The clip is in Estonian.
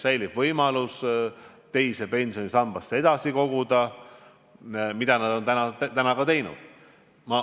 Nad saavad teise pensionisambasse edasi koguda, nii nagu nad on seni teinud.